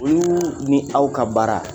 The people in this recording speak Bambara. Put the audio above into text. Olu ni aw ka baara